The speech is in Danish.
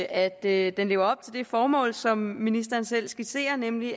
at at det lever op til det formål som ministeren selv skitserer nemlig